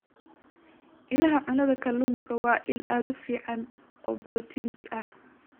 Ilaha Cunnada Kalluunku waa il aad u fiican oo borotiin ah.